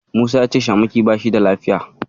Musa ya ce Shamaki bashi da lafiya.